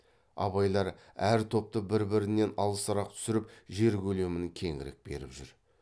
абайлар әр топты бір бірінен алысырақ түсіріп жер көлемін кеңірек беріп жүр